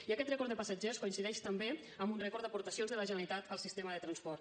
i aquest rècord de passatgers coincideix també amb un rècord d’aportacions de la generalitat al sistema de transport